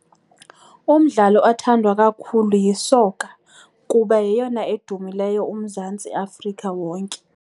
Umdlalo othandwa kakhulu yisoka kuba yeyona edumileyo uMzantsi Afrika wonke.